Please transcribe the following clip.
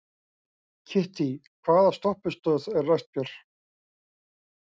Kittý, hvaða stoppistöð er næst mér?